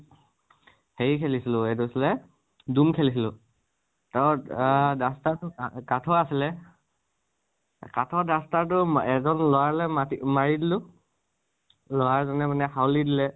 হেৰি খেলিছিলো, এইটো আছিলে দুম খেলিছিলো আহ duster টো কা কাঠৰ আছিলে। কাঠৰ duster টো ম এজন লৰালৈ মাতি মাৰি দিলো। লʼৰা জনে মানে হাউলী দিলে